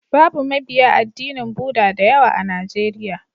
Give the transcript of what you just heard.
Babu mabiya addinin Bhuda da yawa a Najeriya.